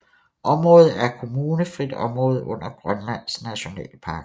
Området er et kommunefrit område under Grønlands Nationalpark